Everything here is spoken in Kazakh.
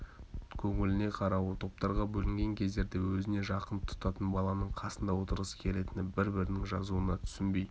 көңіліне қарауы топтарға бөлінген кездерде өзіне жақын тұтатын баланың қасында отырғысы келетіні бір-бірінің жазуына түсінбей